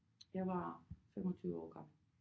Jeg var 25 år gammel